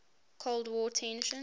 cold war tensions